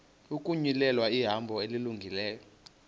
ukuzinyulela ihambo elungileyo